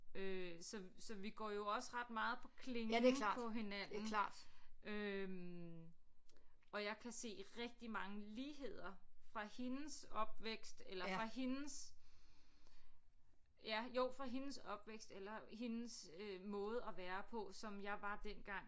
Øh så så vi går jo også ret meget på klingen på hinanden øh og jeg kan se rigtig mange ligheder fra hendes opvækst eller fra hendes ja jo fra hendes opvækst eller hendes øh måde at være på som jeg var dengang